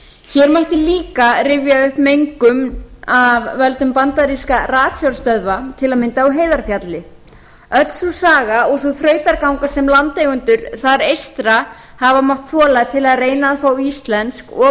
hér mætti líka rifja upp mengun af völdum bandarískra ratsjárstöðvum til að mynda á heiðarfjalli öll sú saga og sú þrautaganga sem landeigendur þar eystra hafa mátt þola til að reyna að fá íslensk og